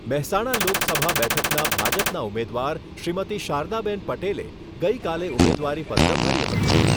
મહેસાણા લોકસભા બેઠકના ભાજપનાં ઉમેદવાર શ્રીમતી શારદાબેન પટેલે ગઈકાલે ઉમેદવારીપત્ર ભર્યું હતું.